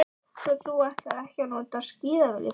Svo þú ætlar ekki að nota skíðalyftuna.